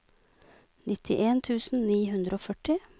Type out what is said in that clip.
nittien tusen ni hundre og førti